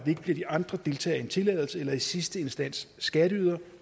ikke bliver de andre deltagere i en tilladelse eller i sidste instans skatteydere